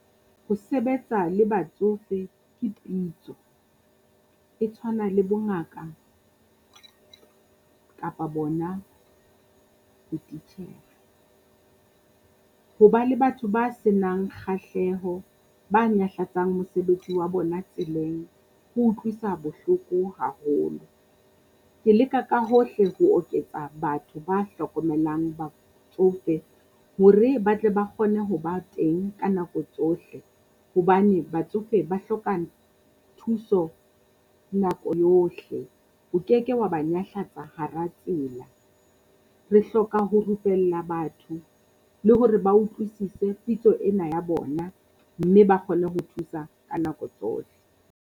Ho sebetsa le batsofe ke pitso, e tshwana le bongaka kapa bona botitjhere. Ho ba le batho ba se nang kgahleho ba nyahlatsang mosebetsi wa bona tseleng ho utlwisa bohloko haholo. Ke leka ka hohle ho oketsa batho ba hlokomelang batsofe hore ba tle ba kgone ho ba teng ka nako tsohle. Hobane batsofe ba hloka thuso nako yohle, o keke wa ba nyahlatsa hara tsela. Re hloka ho rupella batho le hore ba utlwisise pitso ena ya bona mme ba kgone ho thusa ka nako tsohle.